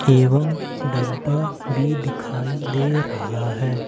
एवं डब्बा भी दिखाई दे रहा है।